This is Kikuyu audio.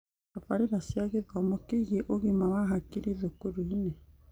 Tabarĩra cia gĩthomo kĩgie ũgima wa hakiri thukuru-inĩ